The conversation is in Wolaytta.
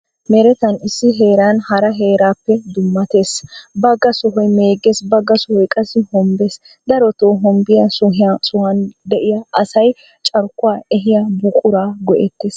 Meretan issi heeran hara heerappe dummates. Bagga sohoy meegges magga sohoy qassi hombbes. Daroto hombbiya sohuwan diya asay carkkuwa ehiya buquraa go'ettes.